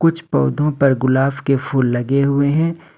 कुछ पौधों पर गुलाब के फूल लगे हुए है।